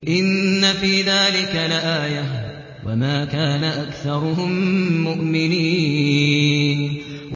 إِنَّ فِي ذَٰلِكَ لَآيَةً ۖ وَمَا كَانَ أَكْثَرُهُم مُّؤْمِنِينَ